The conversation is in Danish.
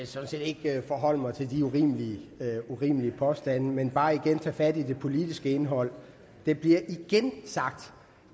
sådan set ikke forholde mig til de urimelige påstande men bare igen tage fat i det politiske indhold det bliver igen sagt